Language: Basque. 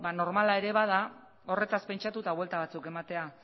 normala ere bada horretaz pentsatu eta buelta batzuk ematea